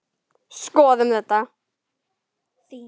Skoðum þetta.